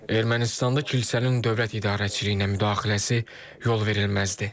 Ermənistanda kilsənin dövlət idarəçiliyinə müdaxiləsi yolverilməzdir.